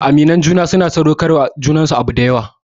Aminan juna suna sadaukar wa junansu abu dayawa